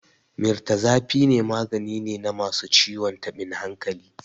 Mirtazapine magani ne na masu ciwon tabin hankali.